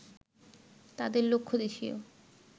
তাদের লক্ষ্য দেশীয়